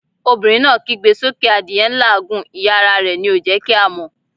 Obìnrin náà kígbe sókè adìẹ n làágùn, ìyẹ́ ara rẹ̀ ni ò jẹ́ kí a mọ̀'